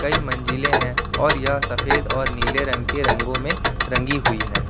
की मंजिलें हैं और यह सफेद और नीले रंग के रंगों में रंगी हुई है।